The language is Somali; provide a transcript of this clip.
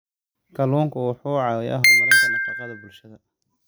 Kalluunku wuxuu caawiyaa horumarinta nafaqada bulshada.